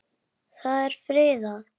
Það er friðað.